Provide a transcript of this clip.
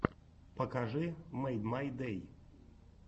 покажи мэйдмайдэй